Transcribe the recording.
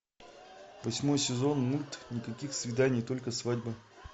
восьмой сезон мульт никаких свиданий только свадьба